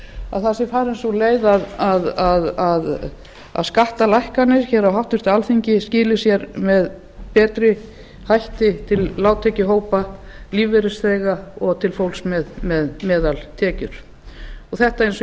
að það sé farin sú leið að skattalækkanir hér á háttvirtu alþingi skili sér með betri hætti til lágtekjuhópa lífeyrisþega og til fólks með meðaltekjur þetta eins og